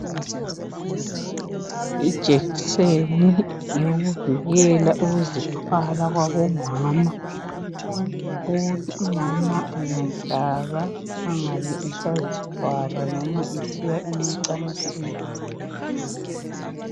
Ijekiseni yokuvikela ukuzithwala kwabomama ukuthi umama engahlatshwa engasabi esazithwala noma esesiya emacansini.